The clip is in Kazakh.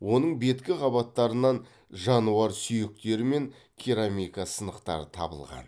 оның беткі қабаттарынан жануар сүйектері мен керамика сынықтары табылған